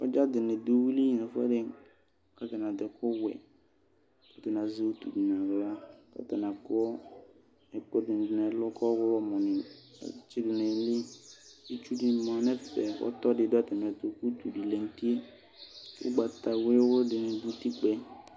sɔdza dini dʋ ʋwili nɛƒʋɛdi katani adʋ ɛkʋwɛ katani azɛ ilatsʋ naɣla atani akɔ ɛkʋɛdini nɛlʋ kʋ ɔɣlɔmɔ atsidʋ nayili itsʋdini ma nʋ ɛƒɛ ɔtɔdini dʋ atamiɛtʋ ʋtʋdi lɛ nʋti ʋgbata wʋyʋwʋyʋi dini